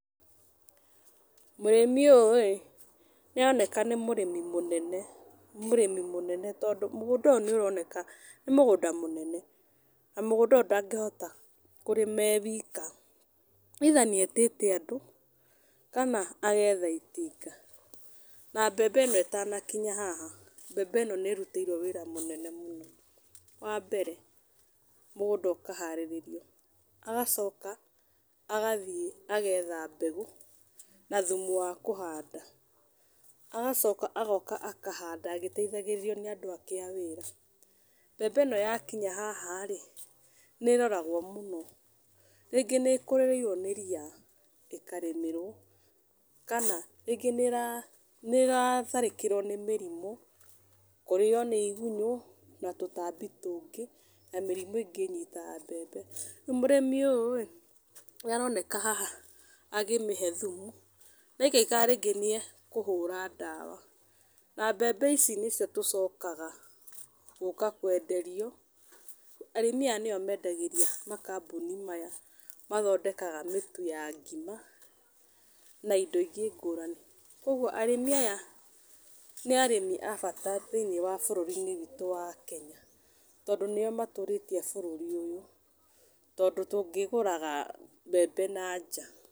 Mũrĩmi ũyũ-ĩ nĩaroneka nĩ mũrĩmi mũnene, nĩ mũrĩmi mũnene tondũ mũgũnda ũyũ nĩaroneka nĩ mũgũnda mũnene, na mũgũnda ũyũ ndangihota kũrĩma e wika either nĩetĩte andũ kana agetha itinga, na mbembe ĩno ĩtanakinya haha, mbembe ĩno nĩrutĩirwo wĩra mũnene mũno. Wambere mũgũnda ũkaharĩrĩrio, agacoka agathiĩ agetha mbegũ na thumu wa kũhanda. Agacoka agoka akahanda agĩteithagĩrĩrio nĩ andũ angĩ a wĩra. Mbembe ĩno yakinya haha-rĩ, nĩĩroragwo mũno, rĩngĩ nĩĩkũrĩrĩirwo nĩ ria ĩkarĩmĩrwo, kana rĩngĩ nĩĩratharĩkĩrwo nĩ mĩrimũ, kũrĩo nĩ igunyũ na tũtambi tũngĩ na mĩrimũ ĩngĩ ĩnyitaga mbembe, rĩu mũrĩmi ũyũ-ĩ nĩaroneka haha akĩmĩhe thumu na aikaikara rĩngĩ nĩeũhũra ndawa na mbembe ici nĩcio tũcoka gũka kwenderio, arĩmi aya nĩo mendagĩria makambũni maya mathondekaga mĩtu ya ngima, na indo ingĩ ngũrani. Kuoguo arĩmi aya nĩ arĩmi a bata thĩiniĩ wa bũrũri-inĩ witũ wa Kenya, tondũ nĩo matũrĩtie bũrũri ũyũ, tondũ tũngĩgũraga mbembe na nja.